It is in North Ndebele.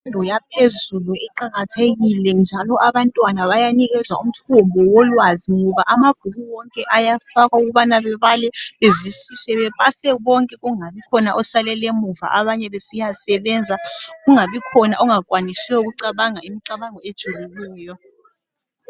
Imfundo yaphezulu iqakathekile njalo abantwana bayanikezwa umuthimbu wolwazi ngoba amabhuku wonke afakwa ukubana bebale bezwisise bepase bonke kungabi khona osalelela emuva abanye besiyasebenza kungabi khona ongakwanisiyo ukucabanga imicabango ejulileyo.